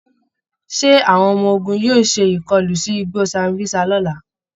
Ṣé àwọn ọmọ ogun yóò ṣe ìkọlu sí igbó Sambísa lọ́la?